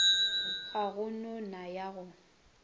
ya go nona ya go